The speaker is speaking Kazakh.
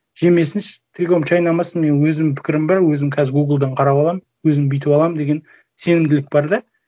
жемесінші трикомды шайнамасын менің өзімнің пікірім бар өзім қазір гуглдан қарап аламын өзім бүйтіп аламын деген сенімділік бар да